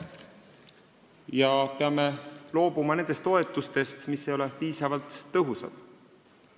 Me peame loobuma nendest toetustest, mis ei ole piisavalt tõhusad.